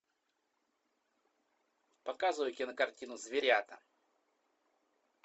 показывай кинокартину зверята